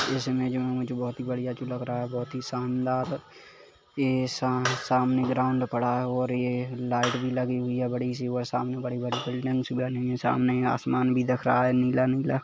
इसमे जो है मुझे बहुत ही बढ़िया चीज लग रहा है बहुत ही शानदार ये साम सामने ग्राउन्ड पड़ा है और ये लाइट भी लगी हुई है बड़ी सी वह सामने बड़ी - बड़ी बिल्डिंग्स बनी हुई है सामने आसमान भी दिख रहा है नीला - नीला --